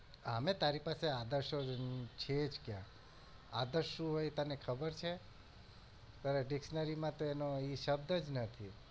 આમે તારી પાસે આદર્શો છે જ ક્યાં આદર્શ શું હોય તને ખબર છે તારી dictionary માં તો એનો શબ્દ જ નથી